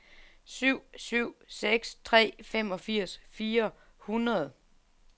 syv syv seks tre femogfirs fire hundrede